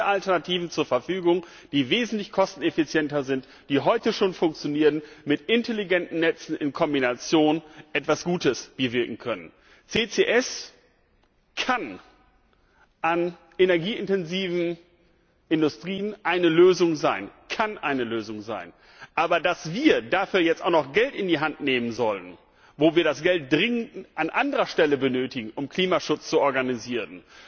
Dort haben wir Alternativen zur Verfügung, die wesentlich kosteneffizienter sind, die heute schon funktionieren und mit intelligenten Netzen in Kombination etwas Gutes bewirken können. CCS kann in energieintensiven Industrien eine Lösung sein, aber dass wir dafür auch noch Geld in die Hand nehmen sollen, wo wir das Geld dringend an anderer Stelle benötigen, um Klimaschutz zu organisieren!